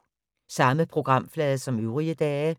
Samme programflade som øvrige dage